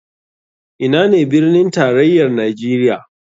Ina ne birnin tarayar nijeria?